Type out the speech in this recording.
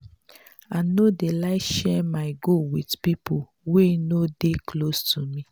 i no dey like share my goal wit pipo wey no dey close to me.